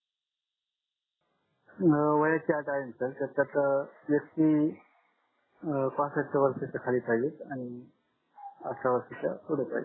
अं वयाची अट आहे न सर त्याचात ST अं पहासस्त खाली पाहिजे आठरच्या वर्षाच्या पुडे पाहिजे